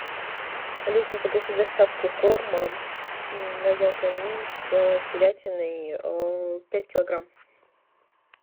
алиса закажи доставку корма роял канин с телятиной пять килограмм